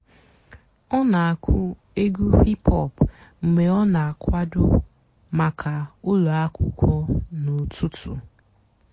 ọ́ nà-àkụ́ ègwú hìp-hòp mg̀bé ọ́ nà-àkwàdó màkà ụ́lọ́ àkwụ́kwọ́ n'ụ́tụtụ́.